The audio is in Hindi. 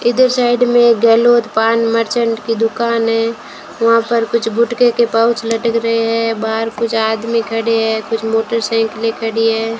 इधर साइड में गहलोत पान मर्चेंट की दुकान है वहां पर कुछ गुटके के पाउच लटक रहे हैं बाहर कुछ आदमी खड़े हैं कुछ मोटरसाइकिलें खड़ी है।